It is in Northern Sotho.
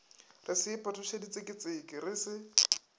re se iphetošeditseketseke re se